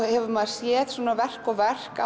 hefur maður séð verk og verk